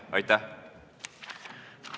Aitäh!